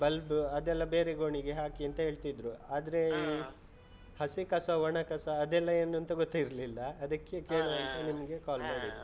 bulb ಅದೆಲ್ಲ ಬೇರೆ ಗೋಣಿಗೆ ಹಾಕಿ ಅಂತ ಹೇಳ್ತಿದ್ರು, ಆದ್ರೆ ಹಸಿ ಕಸ, ಒಣ ಕಸ ಅದ್ ಎಲ್ಲ ಏನು ಅಂತ ಗೊತ್ತ್ ಇರ್ಲಿಲ್ಲ ಅದಕ್ಕೇ, ಕೇಳುವಾ call ಮಾಡಿದ್ದು.